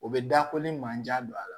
O bɛ da ko ni manjan don a la